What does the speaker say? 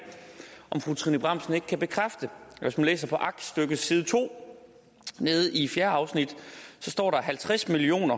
om fru trine bramsen ikke kan bekræfte at hvis man læser aktstykket side to fjerde afsnit står der at halvtreds million